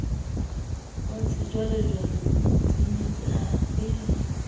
wa sejwalejwale o tenyetsehang le